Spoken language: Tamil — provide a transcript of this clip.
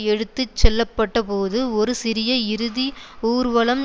எடுத்து செல்லப்படும்போது ஒரு சிறிய இறுதி ஊர்வலம்